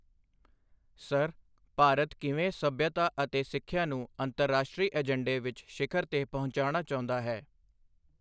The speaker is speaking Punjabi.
ਸਰ, ਭਾਰਤ ਕਿਵੇਂ ਸੱਭਿਅਤਾ ਅਤੇ ਸਿੱਖਿਆ ਨੂੰ ਅੰਤਰਰਾਸ਼ਟਰੀ ਏਜੰਡੇ ਵਿੱਚ ਸ਼ਿਖ਼ਰ ਤੇ ਪਹੁੰਚਾਉਣਾ ਚਾਹੁੰਦਾ ਹੈ?